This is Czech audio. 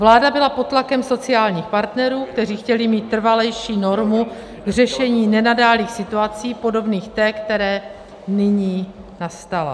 Vláda byla pod tlakem sociálních partnerů, kteří chtěli mít trvalejší normu k řešení nenadálých situací, podobných té, která nyní nastala.